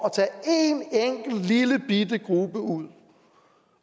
at lillebitte gruppe ud